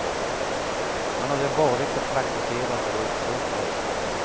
Han hade varit och praktiserat på ett sågverk.